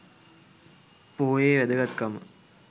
පොහොයේ වැදගත්කම